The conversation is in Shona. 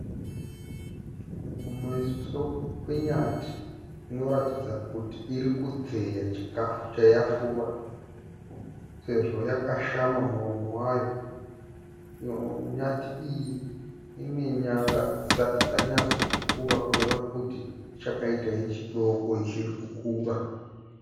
Kumeso kwenyati inoratidza kuti iri kudzeya chikafu chayafura sezvo yakashama muromo wayo. Nyati iyi ine nyanga dzisati dzanyatso kukura kureva kuti ichakaita yechidoko ichiri kukura.